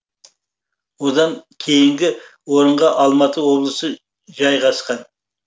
одан кейінгі орынға алматы облысы жайғасқан